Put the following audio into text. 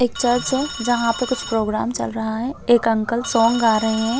एक चर्च है जहाँ पे प्रोग्राम चल रहा है एक अंकल सॉन्ग गा रहे हैं।